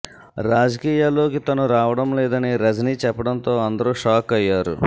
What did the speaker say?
రాజకీయాల్లోకి తను రావడం లేదని రజినీ చెప్పడంతో అందరు షాక్ అయ్యారు